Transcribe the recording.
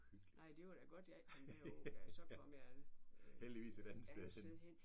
Nej det var da godt jeg ikke kom derud da så kom jeg et andet sted hen